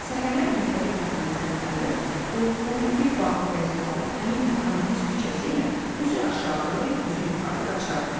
Səhərlər məktəbə getməməzdən əvvəl, qoltuğumda bir bağlı qəzet alıb həmin bu kommunist küçəsi ilə üzü aşağı, üzü yuxarı qaçardım.